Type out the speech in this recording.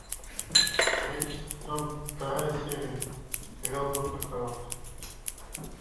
третий сезон вторая серия сериал доктор хаус